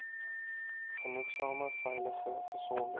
genoegsame veilige gesonde